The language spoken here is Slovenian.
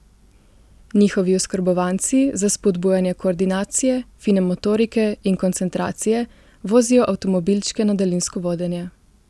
Njihovi oskrbovanci za spodbujanje koordinacije, fine motorike in koncentracije vozijo avtomobilčke na daljinsko vodenje.